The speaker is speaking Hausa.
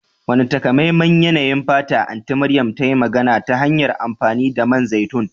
Wane takamaiman yanayin fata Anti Mariam ta yi magana ta hanyar amfani da man zaitun?